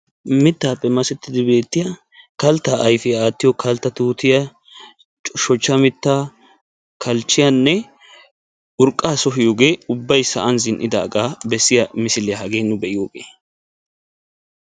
mittappe masetidi beetiya kaltta ayfiya aatiyo kaltta tuutiya, shochcha mitta, kalchiyanne urqqa sohiyoo miishsaa hage nu be"iyogee.